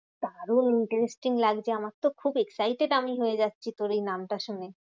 দারুন interesting লাগছে আমারতো খুব excited আমি হয়ে যাচ্ছি তোর এই নামটা শুনে।